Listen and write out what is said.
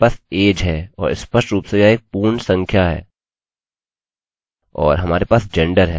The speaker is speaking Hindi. हमारे पास age है और स्पष्ट रूप से यह एक पूर्ण संख्या है और हमारे पास gender है